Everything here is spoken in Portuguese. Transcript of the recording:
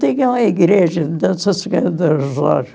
Tinha uma igreja de